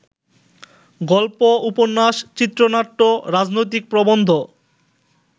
গল্প, উপন্যাস, চিত্রনাট্য, রাজনৈতিক প্রবন্ধ